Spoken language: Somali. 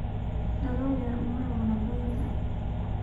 Dalool yar uma roona goynta